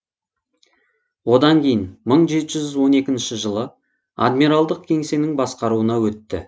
одан кейін мың жеті жүз он екінші жылы адмиралдық кеңсенің басқаруына өтті